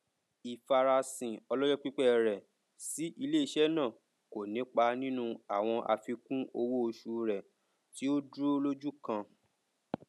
ìfarasìn ọlọjọ pípẹ rẹ sí iléeṣẹ náà kò nipa nínú àwọn àfikún owó oṣù rẹ tí ó dúró lójú kan